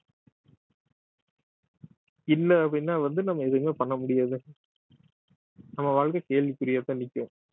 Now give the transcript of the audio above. இல்ல அப்படின்னா வந்து நம்ம எதுவுமே பண்ண முடியாது நம்ம வாழ்க்கை கேள்விக்குறியாத்தான் நிக்கும்